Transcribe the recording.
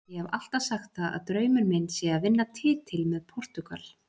Ég hef alltaf sagt það að draumur minn sé að vinna titil með Portúgal.